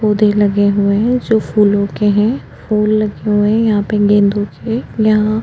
पौधे लगे हुए है जो फूलों के है फूल लगे हुए है यहाँ पर गेंदो के यहाँ --